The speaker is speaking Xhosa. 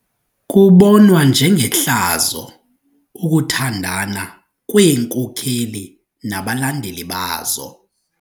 Kubonwa njengehlazo ukuthandana kweenkokeli nabalandeli bazo.